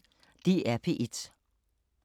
DR P1